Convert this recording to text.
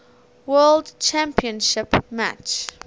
world championship match